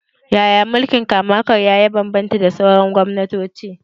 Yaya mulkin kama-karya ya bambanta da sauran gwamnatoci?